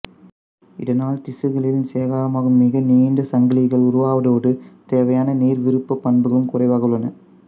இதனால் திசுக்களில் சேகரமாகும் மிக நீண்ட சங்கிலிகள் உருவாவதோடு தேவையான நீர்விருப்பப் பண்புகளும் குறைவாக உள்ளன